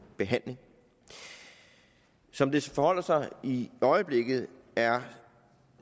behandling som det forholder sig i øjeblikket er